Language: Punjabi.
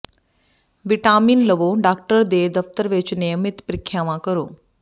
ਵਿਟਾਮਿਨ ਲਵੋ ਡਾਕਟਰ ਦੇ ਦਫਤਰ ਵਿਚ ਨਿਯਮਿਤ ਪ੍ਰੀਖਿਆਵਾਂ ਕਰੋ